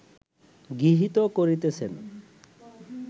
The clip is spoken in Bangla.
গৃহীত করিতেছেন